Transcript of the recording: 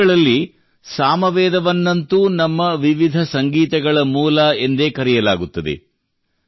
ವೇದಗಳಲ್ಲಿ ಸಾಮವೇದವನ್ನಂತೂ ನಮ್ಮ ವಿವಿಧ ಸಂಗೀತಗಳ ಮೂಲ ಎಂದೇ ಕರೆಯಲಾಗುತ್ತದೆ